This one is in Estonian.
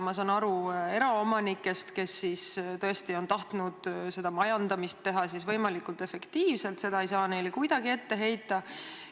Ma saan aru eraomanikest, kes tõesti on tahtnud seda majandamist teha võimalikult efektiivselt, seda ei saa neile kuidagi ette heita.